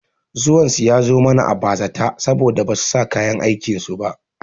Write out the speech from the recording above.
Zuwan su ya zo mana a bazata saboda basu sanya kayan aikin su ba